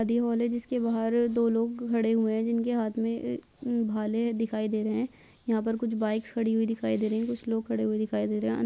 शादी हॉल है जिसके बाहर दो लोग खड़े हुए हैं जिनके हाथ में भाले दिखाई दे रहे हैं यहाँ पर कुछ बाइक्स खड़ी हुई दिखाई दे रही हैं कुछ लोग खड़े हुए दिखाई दे रहे हैं।